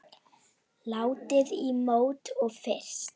Látið í mót og fryst.